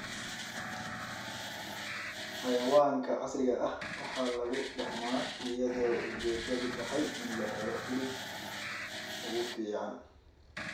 Xayawaanka casriga ah waxaa lagu dhaqmaa iyadoo ujeedadu tahay in la helo hilibka ugu fiican.